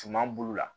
Suman bulu la